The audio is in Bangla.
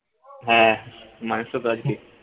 হ্যাঁ মাংস তো আজকে